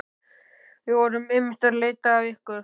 Við vorum einmitt að leita að ykkur.